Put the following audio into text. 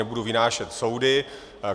Nebudu vynášet soudy.